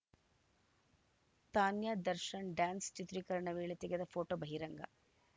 Tanya Darshan dance ಚಿತ್ರೀಕರಣ ವೇಳೆ ತೆಗೆದ ಫೋಟೋ ಬಹಿರಂಗ